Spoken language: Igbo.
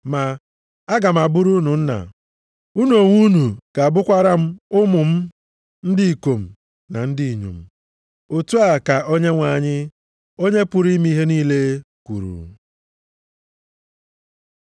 Ma, “Aga m abụrụ unu Nna, unu onwe unu ga-abụkwara m ụmụ m ndị ikom na ndị inyom. Otu a ka Onyenwe anyị, Onye pụrụ ime ihe niile kwuru.” + 6:18 \+xt 2Sa 7:14; 7:8\+xt*